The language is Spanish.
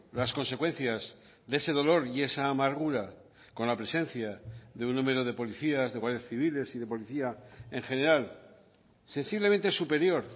las consecuencias de ese dolor y esa amargura con la presencia de un número de policías de guardias civiles y de policía en general sensiblemente superior